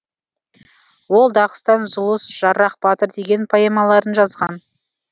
ол дағыстан зұлыс жаррах батыр деген поэмаларын жазған